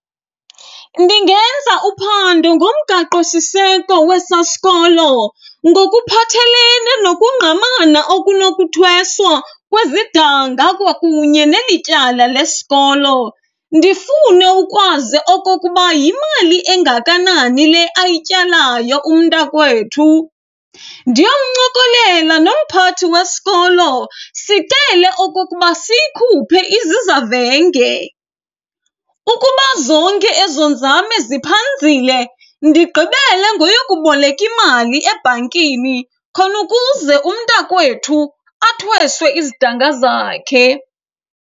Ndingenza uphando ngomgaqosiseko wesaa sikolo ngokuphathelene nokungqamana okunokuthweswa kwezidanga kwakunye neli tyala lesikolo. Ndifune ukwazi okokuba yimali engakanani le ayityalayo umntakwethu, ndiyomncokolela nomphathi wesikolo sicele okokuba siyikhuphe izizavenge. Ukuba zonke ezo nzame ziphanzile, ndigqibele ngoyokuboleka imali ebhankini khona ukuze umntakwethu athweswe izidanga zakhe.